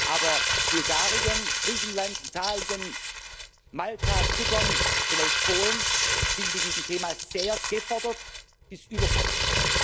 Aber Bulgarien, Griechenland, Italien, Malta, Zypern, vielleicht Polen sind mit diesem Thema sehr gefordert bis überfordert.